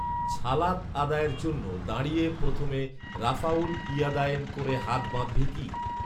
ছালাত আদায়ের জন্য দাঁড়িয়ে প্রথমে রাফঊল ইয়াদায়েন করে হাত বাঁধবে কি